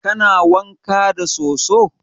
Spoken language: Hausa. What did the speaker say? Kana wanka da soso?